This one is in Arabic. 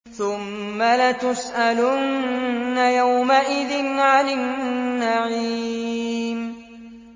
ثُمَّ لَتُسْأَلُنَّ يَوْمَئِذٍ عَنِ النَّعِيمِ